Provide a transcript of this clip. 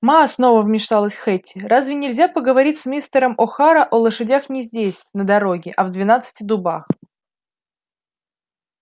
ма снова вмешалась хэтти разве нельзя поговорить с мистером охара о лошадях не здесь на дороге а в двенадцати дубах